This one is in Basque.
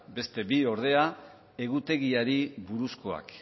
beste bi ordea egutegiari buruzkoak